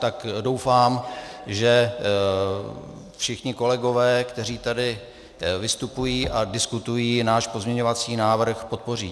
Tak doufám, že všichni kolegové, kteří tady vystupují a diskutují, náš pozměňovací návrh podpoří.